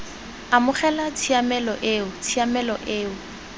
amogela tshiamelo eo tshiamelo eo